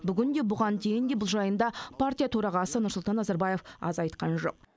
бүгін де бұған дейін де бұл жайында партия төрағасы нұрсұлтан назарбаев аз айтқан жоқ